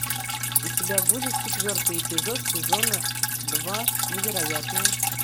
у тебя будет четвертый эпизод сезона два невероятное